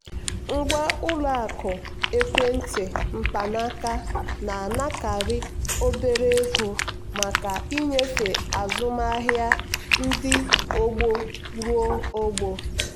ngwa ụlọ akụ ekwentị mkpanaaka na-anakarị obere ego maka nnyefe azụmahịa ndị ọgbọ ruo ọgbọ.